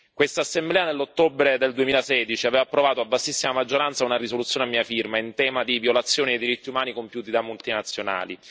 Quest'Assemblea nell'ottobre del 2016 aveva provato a vastissima maggioranza una risoluzione a mia firma, in tema di violazione dei diritti umani compiuti da multinazionali.